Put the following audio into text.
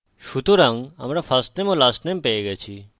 সুতরাং আমরা firstname এবং lastname পেয়ে গেছি